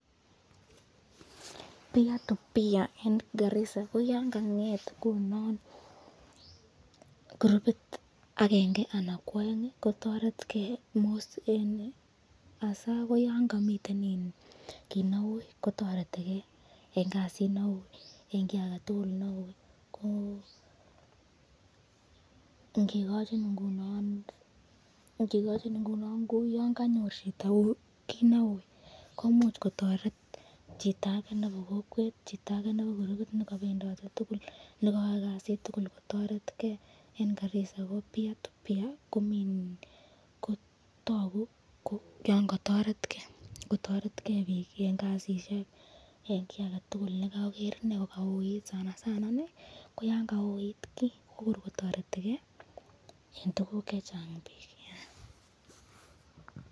Peer to peer eng Garisa, ko ingonget ingunon kurupit akenge ,anan ko aeng kotaret ken mostly yon miten kit neui , kotareti ken eng kasit neui yon kanyor kit neui komuch kotaretchtake nebo kokwet anan ko kurupit, toku yon kotoret ken pik eng kasisyek. sanasana ko yan kauit.